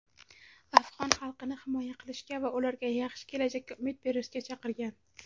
afg‘on xalqini himoya qilishga va ularga yaxshi kelajakka umid berishga chaqirgan.